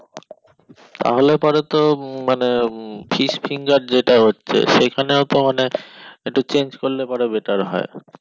তাহলে পরে তো মানে fish যেটা হচ্ছে সেখানেও তো মানে একটু change করলে পরে better হয়